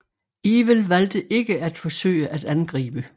Ewell valgte ikke at forsøge at angribe